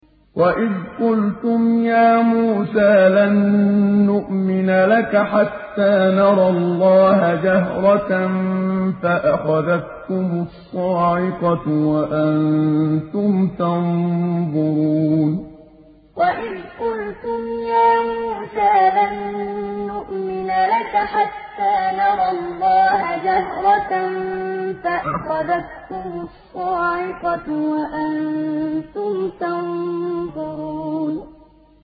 وَإِذْ قُلْتُمْ يَا مُوسَىٰ لَن نُّؤْمِنَ لَكَ حَتَّىٰ نَرَى اللَّهَ جَهْرَةً فَأَخَذَتْكُمُ الصَّاعِقَةُ وَأَنتُمْ تَنظُرُونَ وَإِذْ قُلْتُمْ يَا مُوسَىٰ لَن نُّؤْمِنَ لَكَ حَتَّىٰ نَرَى اللَّهَ جَهْرَةً فَأَخَذَتْكُمُ الصَّاعِقَةُ وَأَنتُمْ تَنظُرُونَ